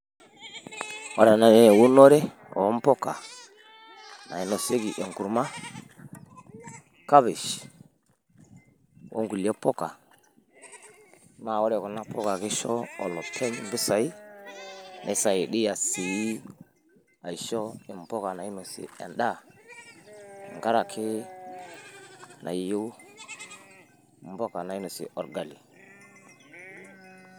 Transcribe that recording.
ore ena naa eunore oo mpuka nainosieki enkurma, kapish okulie puka, naa ore kuna puka kisho olopeny impisai, neisaidia sii aisho olopeny impuka nainosie edaa tenkaraki nayieu ipuka nainosie orgali.